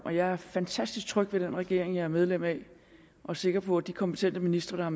og jeg er fantastisk tryg ved den regering jeg er medlem af og sikker på at de kompetente ministre